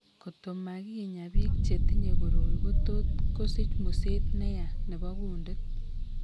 Koto makinyaa biik chetinye koroi kotot kosich museet neyaa nebo kundit